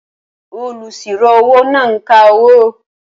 Olùsirò-owó náà ń ka owó